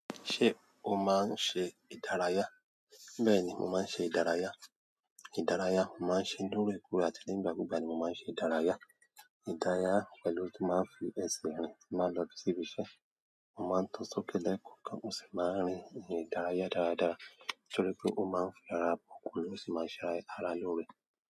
Ṣé o máa ń ṣe ìdárayá? Bẹ́ẹ̀ni, mo máa ń ṣe ìdárayá. Ìdárayá, mo máa ń ṣe lóòrèkóòrè àti ní ìgbàkúgbà ni mo máa ń ṣe ìdárayá. Ìdárayá pẹ̀lú ohun tí máa ń fi ẹṣẹ̀ rìn mo máa ń lọ sí ibi iṣẹ́. Mo maa n tọ sókè ni kọ̀ọ̀kan mo si ma rin irin ìdárayá dada nítorí pe o ma n ṣe ara loore.